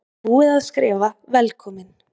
Og búið að skrifa VELKOMIN!